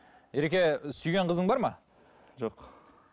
ереке сүйген қызың бар ма жоқ